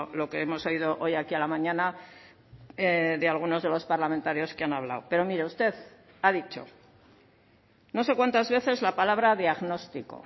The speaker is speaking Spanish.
lo que hemos oído hoy aquí a la mañana de algunos de los parlamentarios que han hablado pero mire usted ha dicho no sé cuántas veces la palabra diagnóstico